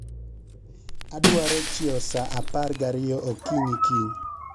Adwaro chiew sa apar ga ariyo okinyi kiny